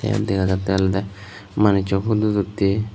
tey dega jattey olodey manusu phudut uttey.